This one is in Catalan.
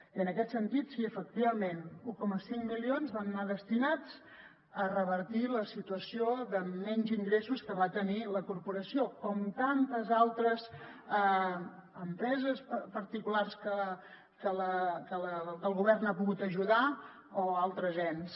i en aquest sentit sí efectivament un coma cinc milions van anar destinats a revertir la situació de menys ingressos que va tenir la corporació com tantes altres empreses particulars que el govern ha pogut ajudar o altres ens